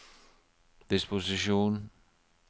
disposisjon